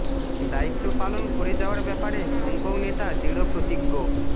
দায়িত্ব পালন করে যাওয়ার ব্যাপারে হংকং নেতা দৃঢ় প্রতিজ্ঞ